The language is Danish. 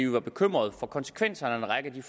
var bekymrede for konsekvenserne af en række af de